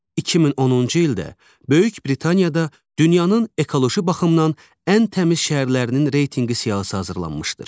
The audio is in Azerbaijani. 2010-cu ildə Böyük Britaniyada dünyanın ekoloji baxımdan ən təmiz şəhərlərinin reytinqi siyahısı hazırlanmışdır.